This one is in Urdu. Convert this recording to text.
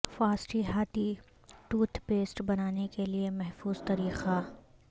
فاسٹی ہاتھی ٹوتھ پیسٹ بنانے کے لئے محفوظ طریقہ